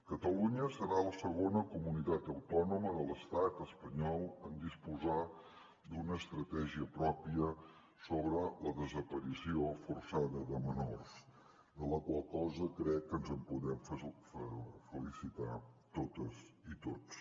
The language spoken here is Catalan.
catalunya serà la segona comunitat autònoma de l’estat espanyol en disposar d’una estratègia pròpia sobre la desaparició forçada de menors de la qual cosa crec que ens en podem felicitar totes i tots